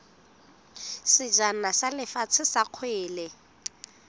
sejana sa lefatshe sa kgwele